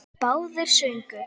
Báðir sungu.